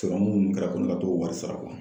Sɔrɔmu minnu kɛra ko ne ka t'o wari sara